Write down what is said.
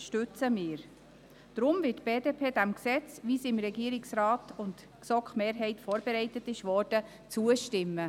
Deshalb wird die BDP diesem Gesetz, wie es vom Regierungsrat und der GSoK-Mehrheit vorbereitet wurde, zustimmen.